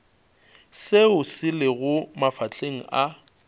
seo se lego mafahleng a